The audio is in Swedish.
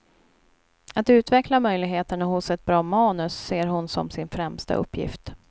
Att utveckla möjligheterna hos ett bra manus ser hon som sin främsta uppgift.